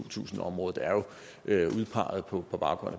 tusind områder er jo udpeget på baggrund